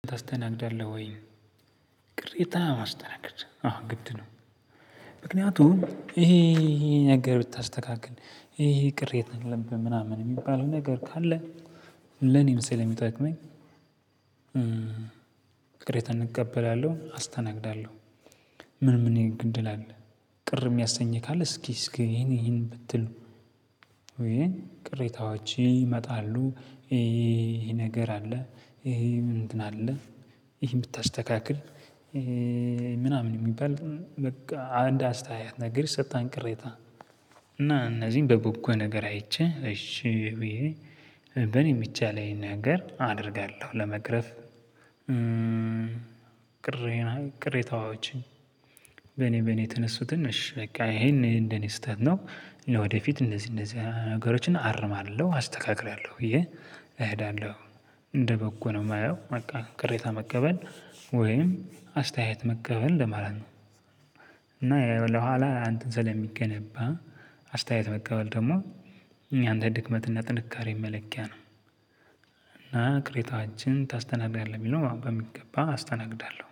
ታስተናግዳለህ ወይ? ቅሬታ ማስተናገድ አዎ ግድ ነው። ምክንያቱም ይሄ ይሄ ነገር ብታስተካክል ይሄ ቅሬታ የለምብህ ምናምን የሚባል ነገር ካለ። ለኔም የሚጠቅመኝ ቅሬታን እቀበላለሁ አስተናግዳለሁ። ምን ምን የጎደለ አለ ነው? ቅር የሚያሰኝ ነገር። ካለ ቅሬታዎች ይመጣሉ። ይሄን ብታስተካክል ምናምን የሚባል በቃ አንድ አስተያየት ነገር ይሰጣን። ቅሬታ እና እነዚህን በበጎ ነገር አይቼ እሺ ብዬ በኔ የምቻለኝ ነገር አደርጋለሁ ለመቅረፍ። ቅሬታዎችን በኔ በኔ የተነሱትን እሺ በቃ ይሄን እንደኔ ስህተት ነው። ወደፊት እንደዚህ እንደዚህ ነገሮችን አርማለሁ አስተካክላለሁ ብዬ እሄዳለሁ። እንደበጎ ነው የማየው በቃ ቅሬታ መቀበል ወይም አስተያየት መቀበል ለማለት ነው። እና ለኋላ አንተን ስለሚገነባ አስተያየት መቀበል ደግሞ እኛ እንደ ድክመት እና ጥንካሬ መለኪያ ነው። እና ቅሬታዎችን ታስተናግዳለህ የሚለውን በሚገባ አስተናግዳለሁ